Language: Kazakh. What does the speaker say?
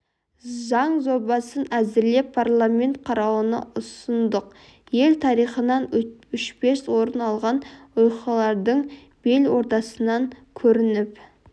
заң жобасын әзірлеп парламент қарауына ұсындық ел тарихынан өшпес орын алған оқиғалардың бел ортасынан көрініп